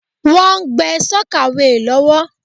Wọ́n ń gbé sọ́kàweè lọ́wọ́.